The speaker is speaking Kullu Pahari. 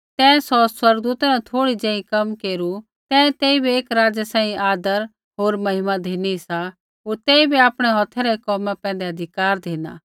तैं सौ स्वर्गदूता न थोड़ा ज़ेही कम केरू तैं तेइबै एक राज़ै सांही आदर होर महिमा धिनी सा होर तेइबै आपणै हौथै रै कोमा पैंधै अधिकार धिना